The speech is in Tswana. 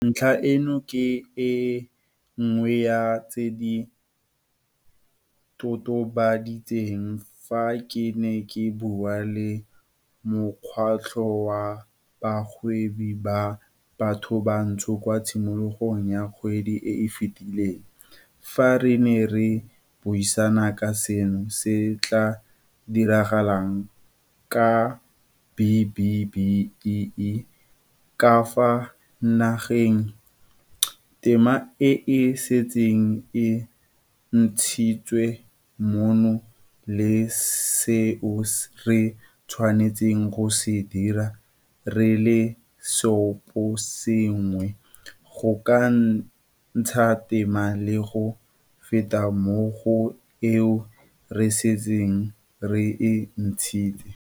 Ntlha eno ke e nngwe ya tse ke di totobaditseng fa ke ne ke bua le Mokgatlho wa Bagwebi ba Bathobantsho kwa tshimologong ya kgwedi e e fetileng, fa re ne re buisana ka seo se tla diragalang ka B-BBEE ka fa nageng, tema e e setseng e ntshitswe mmogo le seo re tshwanetseng go se dira re le seoposengwe go ka ntsha tema le go feta mo go eo re setseng re e ntshitse.